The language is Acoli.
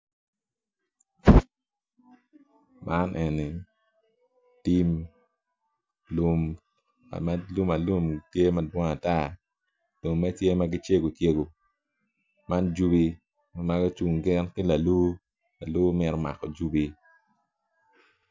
Man eni tim lum ka ma lum tye madwong ata lumme tye ma gicego cegu man jubi ma gucung gin ki lalu lalu mito mako jubi.